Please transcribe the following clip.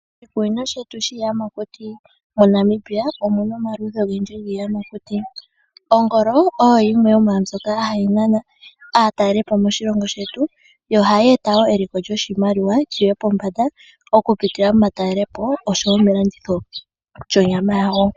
Moshikunino shetu shiiyamakuti moNamibia omuna omaludhi ogendji giiyamakuti. Ongolo oyo yimwe yomaambyoka hayi nana aatalelipo moshilongo shetu yo ohayi eta wo eliko lyoshimaliwa lyiye pombanda okuputila momatalelepo nosho woo melanditho lyonyama yawo.